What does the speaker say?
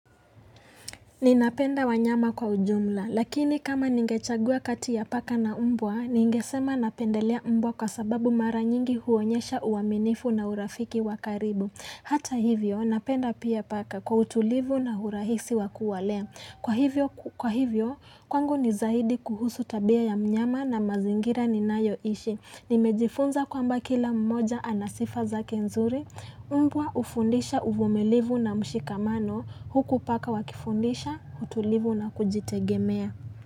Ninapenda wanyama kwa ujumla, lakini kama ningechagua kati ya paka na umbwa, ningesema napendelea umbwa kwa sababu mara nyingi huonyesha uaminifu na urafiki wakaribu. Hata hivyo, napenda pia paka kwa utulivu na urahisi wakuwalea. Kwa hivyo, kwangu nizahidi kuhusu tabia ya mnyama na mazingira ni nayoishi. Nimejifunza kwamba kila mmoja anasifa zake nzuri, umbwa hufundisha uvumilivu na mshikamano huku paka wakifundisha, utulivu na kujitegemea.